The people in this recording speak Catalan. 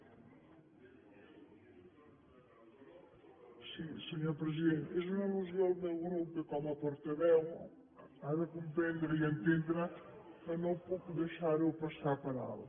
sí senyor president és una allusió al meu grup que com a portaveu ha de comprendre i entendre que no puc deixar la passar per alt